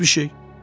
Heç bir şey.